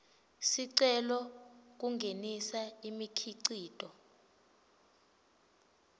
sicelo kungenisa imikhicito